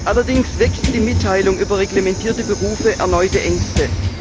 Allerdings weckt die Mitteilung über reglementiere Berufe erneute Ängste.